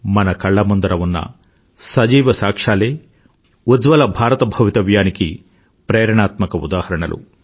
మన కళ్ల ముందర ఉన్న సజీవ సాక్ష్యాలు ఉజ్వల భారత భవితవ్యానికి ప్రేరణాత్మక ఉదాహరణలు